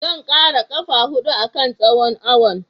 Zan ƙara ƙafa huɗu a kan tsohon awon.